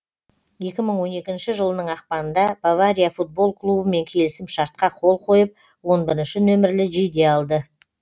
екі мың он екінші жылының ақпанында бавария футбол клубымен келісім шартқа қол қойып он бірінші нөмірлі жейде алды